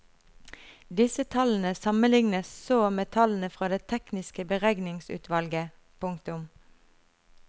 Disse tallene sammenlignes så med tallene fra det tekniske beregningsutvalget. punktum